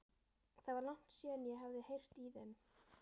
Það var langt síðan ég hafði heyrt í þeim.